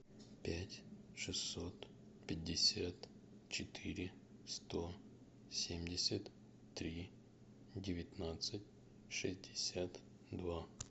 пять шестьсот пятьдесят четыре сто семьдесят три девятнадцать шестьдесят два